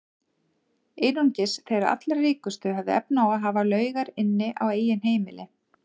Einungis þeir allra ríkustu höfðu efni á að hafa laugar inni á eigin heimili.